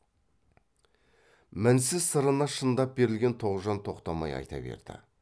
мінсіз сырына шындап берілген тоғжан тоқтамай айта берді